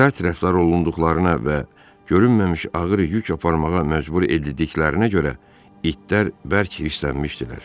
Sərt rəftar olunduqlarına və görünməmiş ağır yük aparmağa məcbur edildiklərinə görə itlər bərk hirslənmişdilər.